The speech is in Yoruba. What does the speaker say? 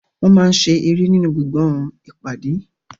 Wọ́n máa ń ṣe eré nínú gbọ̀ngàn ìpàdé.